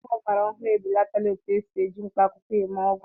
Ọgwụ ọgbara ọhụrụ ebelatala etu esi eji mkpaakwụkwọ eme ọgwụ